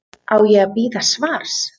Á ég að bíða svars?